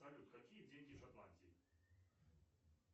салют какие деньги в шотландии